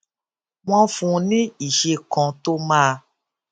wón fún un ní iṣé kan tó máa